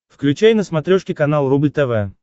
включай на смотрешке канал рубль тв